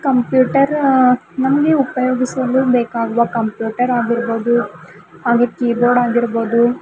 computer ಆ ನಮಗೆ ಉಪಯೋಗಿಸಲು ಬೇಕಾಗುವ ಕಂಪ್ಯೂಟರ್ ಆಗಿರ್ಬೋದು ಹಾಗೂ ಕೀಬೋರ್ಡ್ ಆಗಿರ್ಬೋದು--